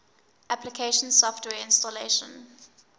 application software installation